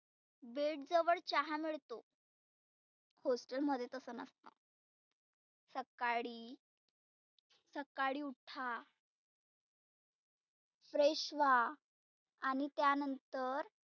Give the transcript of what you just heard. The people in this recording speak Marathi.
bed जवळ चहा मिळतो. hostel मध्ये तसं नसत. सकाळी सकाळी उठा fresh व्हा. आणि त्या नंतर